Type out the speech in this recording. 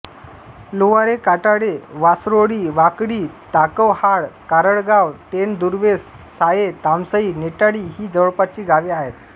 लोवारे काटाळे वासरोळी वाकडी ताकवहाळ कारळगाव टेन दुर्वेस साये तामसई नेटाळी ही जवळपासची गावे आहेत